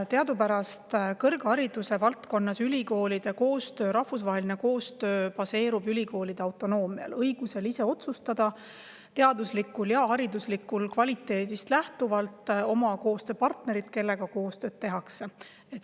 Teadupärast ülikoolide koostöö, rahvusvaheline koostöö kõrghariduse vallas baseerub ülikoolide autonoomial: neil on õigus ise otsustada teaduslikust ja hariduslikust kvaliteedist lähtudes, kes on need partnerid, kellega koostööd tehakse.